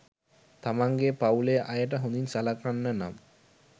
තමන්ගේ පවුලේ අයට හොඳින් සලකන්න නම්